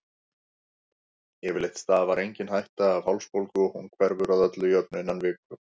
Yfirleitt stafar engin hætta af hálsbólgu og hún hverfur að öllu jöfnu innan viku.